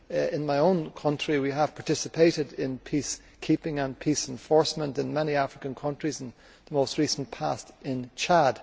In my own country we have participated in peacekeeping and peace enforcement in many African countries, and in the most recent past in Chad.